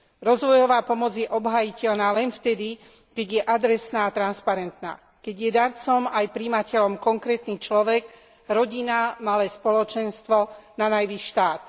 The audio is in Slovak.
Rozvojová pomoc je obhájiteľná len vtedy, keď je adresná a transparentná, keď je darcom aj prijímateľom konkrétny človek, rodina, malé spoločenstvo, nanajvýš štát.